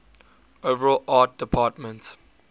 overall art department